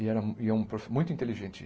E era um é um profe muito inteligente.